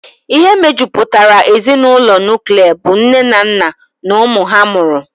Ihe mejupụtara ezinụlọ nuklia bụ nne na nna na ụmụ ha mụrụ.